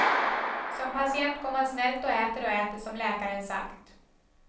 Som patient går man snällt och äter och äter, som läkaren sagt.